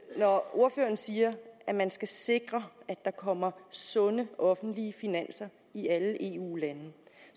ordføreren siger at man skal sikre at der kommer sunde offentlige finanser i alle eu lande